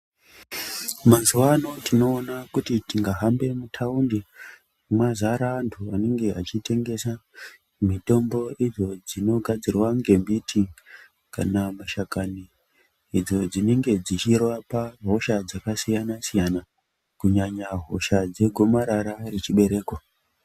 Mazuwa ano tinoona kuti tingahambe mutaundi mazare antu anenge achitengesa mitombo idzo dzinogadzirwa ngembiti kana mashakani idzo dzinenge dzichirapa hosha dzakasiyana siyana kunyanya hosha dzegomarara rechibereko.